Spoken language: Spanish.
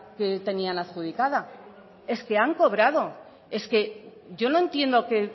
que tenían adjudicada es que han cobrado es que yo no entiendo qué